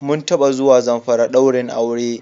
Mun taba zuwa Zamfari ɗaurin aure.